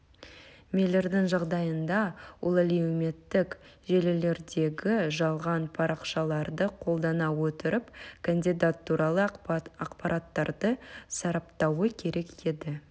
миллердің жағдайында ол әлеуметтік желілердегі жалған парақшаларды қолдана отырып кандидат туралы ақпараттарды сараптауы керек еді